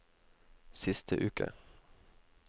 siste uke